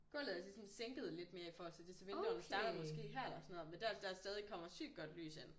Gulvet er så ligesom sænket lidt mere i forhold til det så vinduerne starter måske her eller sådan noget men der der stadig kommer sygt godt lys ind